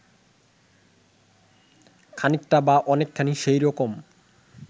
খানিকটা বা অনেকখানি সেই রকম